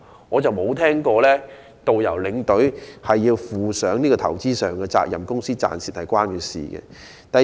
我未曾聽聞導遊和領隊要負上投資上的責任，又或公司的生意盈虧與他們有關。